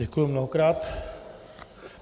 Děkuji mnohokrát.